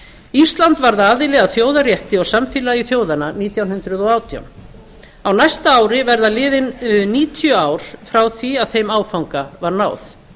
ísland varð aðili að þjóðarétti og samfélagi þjóðanna nítján hundruð og átján á næsta ári verða liðin níutíu ár frá því að þeim áfanga var náð